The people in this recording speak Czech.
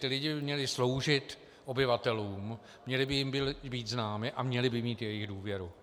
Ti lidé by měli sloužit obyvatelům, měli by jim být známi a měli by mít jejich důvěru.